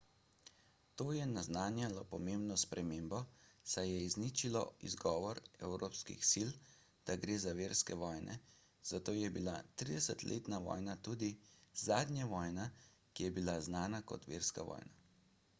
to je naznanjalo pomembno spremembo saj je izničilo izgovor evropskih sil da gre za verske vojne zato je bila tridesetletna vojna tudi zadnja vojna ki je bila znana kot verska vojna